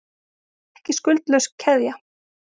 Ekki skuldlaus keðja